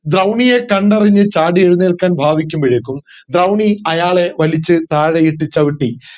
ദ്രൗണിയെ കണ്ടറിഞ്ഞു ചാടി എഴുന്നേൽക്കാൻ ഭവിക്കുമ്പോഴേക്കും ദ്രൗണി അയാളെ വലിച്ചു താഴെ ഇട്ട് ചവിട്ടി